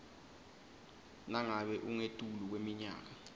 nangabe ungetulu kweminyaka